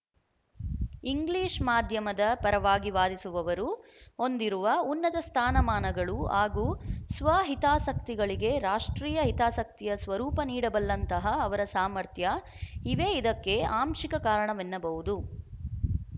English ಮಾಧ್ಯಮದ ಪರವಾಗಿ ವಾದಿಸುವವರು ಹೊಂದಿರುವ ಉನ್ನತ ಸ್ಥಾನಮಾನಗಳು ಹಾಗೂ ಸ್ವಹಿತಾಸಕ್ತಿಗಳಿಗೆ ರಾಷ್ಟ್ರೀಯ ಹಿತಾಸಕ್ತಿಯ ಸ್ವರೂಪ ನೀಡಬಲ್ಲಂತಹ ಅವರ ಸಾಮರ್ಥ್ಯ ಇವೇ ಇದಕ್ಕೆ ಆಂಶಿಕ ಕಾರಣವೆನ್ನಬಹುದು